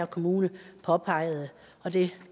kommune påpegede og det